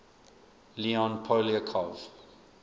leon poliakov